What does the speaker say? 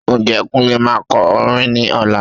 Ǹjẹ́ Kunle máa kọ orin ní ọ̀la?